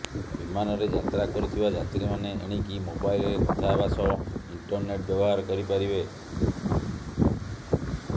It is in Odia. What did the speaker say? ବିମାନରେ ଯାତ୍ରା କରୁଥିବା ଯାତ୍ରୀମାନେ ଏଣିକି ମୋବାଇଲରେ କଥା ହେବା ସହ ଇଣ୍ଟରନେଟ୍ ବ୍ୟବହାର କରିପାରିବେ